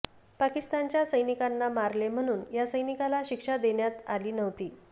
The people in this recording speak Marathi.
पाकिस्तानच्या सैनिकांना मारले म्हणून या सैनिकाला शिक्षा देण्यात आली नव्हती